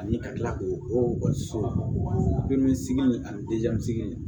Ani ka tila k'o okɔliso in ani sigi